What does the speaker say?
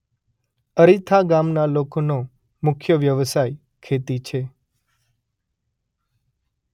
અરીથા ગામના લોકોનો મુખ્ય વ્યવસાય ખેતી છે.